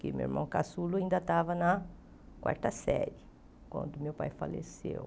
Que meu irmão caçulo ainda estava na quarta série, quando meu pai faleceu.